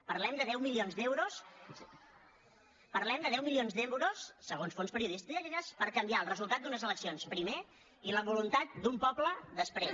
parlem de deu milions d’euros segons fons periodístiques per canviar els resultats d’unes eleccions primer i la voluntat d’un poble després